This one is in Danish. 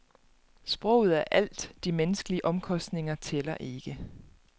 Sproget er alt, de menneskelige omkostninger tæller ikke.